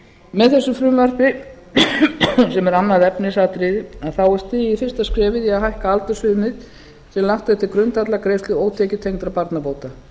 með þessu frumvarpi sem er annað efnisatriði er stigið fyrsta skrefið í að hækka aldursviðmið sem er lagt til grundvallar greiðslu ótekjutengdra barnabóta